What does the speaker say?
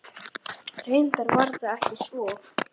Reyndar var það ekki svo.